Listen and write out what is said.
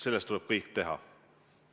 Selleks tuleb teha kõik.